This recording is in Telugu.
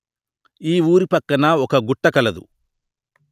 ఈ ఊరి పక్కన ఒక గుట్ట కలదు